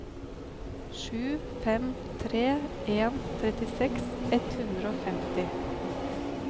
sju fem tre en trettiseks ett hundre og femti